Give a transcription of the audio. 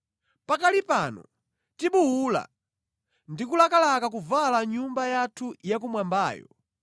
Pakali pano tibuwula, ndi kulakalaka kuvala nyumba yathu ya kumwambayo,